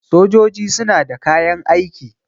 sojoji suna da kayan aiki